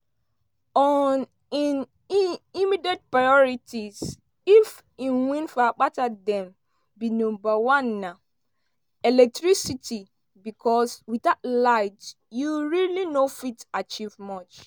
on im immediate priorities if e win for akpata dem be "number one na electricity becos without light you really no fit achieve much.